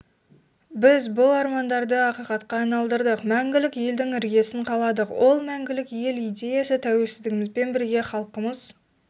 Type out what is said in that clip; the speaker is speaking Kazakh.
біз бұл армандарды ақиқатқа айналдырдық мәңгілік елдің іргесін қаладық ол мәңгілік ел идеясы тәуелсіздігімізбен бірге халқымыз